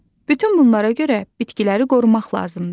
Bütün bunlara görə bitkiləri qorumaq lazımdır.